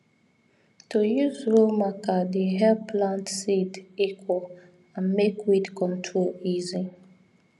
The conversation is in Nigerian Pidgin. to use row marker dey help plant seed equal and make weed control easy